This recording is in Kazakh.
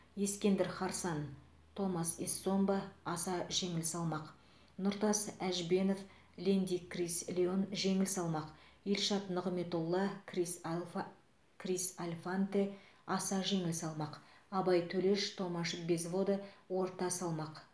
ескендір харсан томас эссомба аса жеңіл салмақ нұртас әжбенов лэнди крис леон жеңіл салмақ елшат нығметолла крис алфа крис альфанте аса жеңіл салмақ абай төлеш томаш безвода орта салмақ